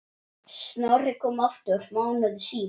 Snorri kom aftur mánuði síðar.